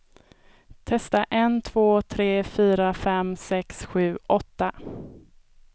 Testar en två tre fyra fem sex sju åtta.